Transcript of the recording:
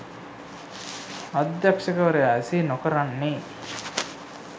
අධ්‍යක්ෂකවරයා එසේ නොකරන්නේ